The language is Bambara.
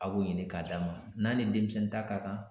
A b'o ɲini k'a d'a ma, n'a ni denmisɛnnin ta ka kan.